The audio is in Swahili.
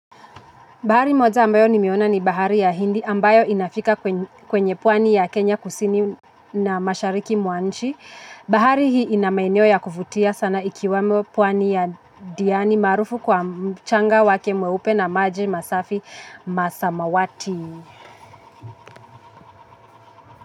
Bahari moja ambayo nimeona ni bahari ya hindi ambayo inafika kwenye pwani ya Kenya kusini na mashariki mwanchi. Bahari hii inamaeneo ya kuvutia sana ikiwemo pwani ya diani maarufu kwa mchanga wake mweupe na maji masafi masamawati.